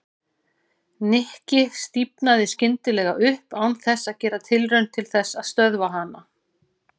Nikki stífnaði skyndilega upp án þess að gera tilraun til þess að stöðva hana.